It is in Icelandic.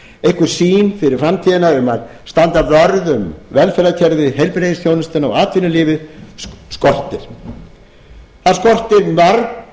einhver sýn fyrir framtíðina um að standa vörð um velferðarkerfið heilbrigðisþjónustuna og atvinnulífið skortir það skortir mörg